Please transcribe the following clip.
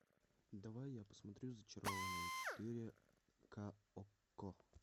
давай я посмотрю зачарованные четыре к окко